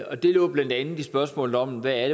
og det lå blandt andet i spørgsmålet om hvad